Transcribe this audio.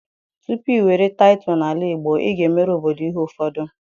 tupu i were tittle n'ala Igbo, i ga-emere obodo ihe ufodu.